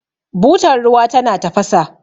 butar ruwa tana tafasa